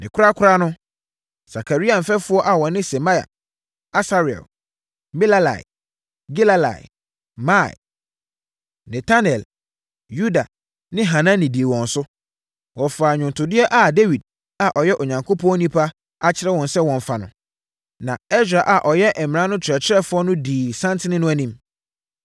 Ne korakora no, Sakaria mfɛfoɔ a wɔne Semaia, Asarel, Milalai, Gilalai, Maai, Netanel, Yuda ne Hanani dii wɔn so. Wɔfaa nnwontodeɛ a Dawid a ɔyɛ Onyankopɔn onipa akyerɛ sɛ wɔmfa no. Na Ɛsra a ɔyɛ mmara no ɔkyerɛkyerɛfoɔ no na ɔdii santen no anim.